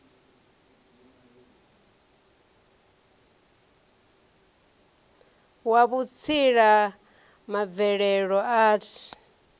wa vhutsila ma mvelelo arts